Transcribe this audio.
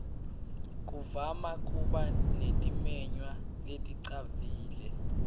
kuvama kuba netimenywa leticavile